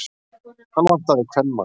Hann vantaði kvenmann.